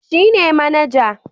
Shi ne manaja